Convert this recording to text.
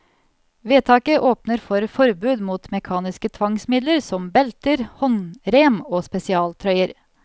Vedtaket åpner for forbud mot mekaniske tvangsmidler som belter, håndrem og spesialtrøyer.